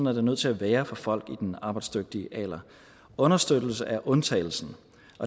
er det nødt til at være for folk i den arbejdsdygtige alder understøttelse er undtagelsen